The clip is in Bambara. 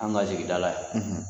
An ka sigida la